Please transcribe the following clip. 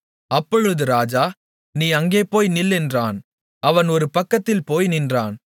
அப்பொழுது ராஜா நீ அங்கே போய் நில் என்றான் அவன் ஒரு பக்கத்தில் போய் நின்றான்